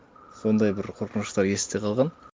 сондай бір қорқыныштар есте қалған